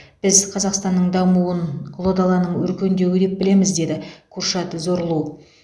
біз қазақстанның дамуын ұлы даланың өркендеуі деп білеміз деді куршад зорлу